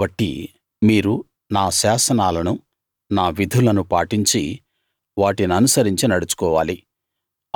కాబట్టి మీరు నా శాసనాలను నా విధులను పాటించి వాటి ననుసరించి నడుచుకోవాలి